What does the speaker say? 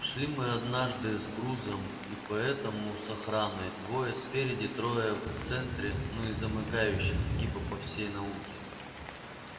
шли мы однажды с грузом и поэтому с охраной двое спереди трое в центре ну и замыкающий типа по всей науке